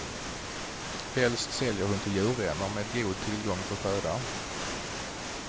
Helst säljer hon till djurvänner med god tillgång på föda.